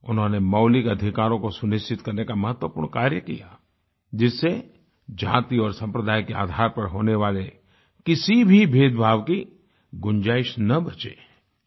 उन्होंने मौलिक अधिकारों को सुनिश्चित करने का महत्वपूर्ण कार्य किया जिससे जाति और संप्रदाय के आधार पर होने वाले किसी भी भेदभाव की गुंजाइश न बचे